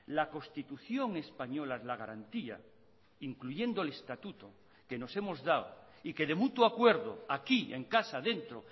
la constitución española es la garantía incluyendo el estatuto que nos hemos dado y que de mutuo acuerdo aquí en casa dentro